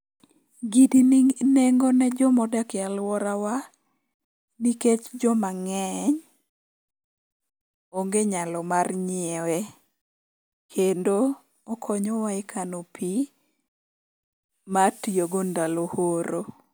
Gini nigi nengo ne joma odak e alworawa nikech joma ng'eny onge nyalo mar nyiewe. Kendo okonyowa e kano pi mar tiyogo ndalo horo.